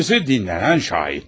Birincisi dinlenen şahitler.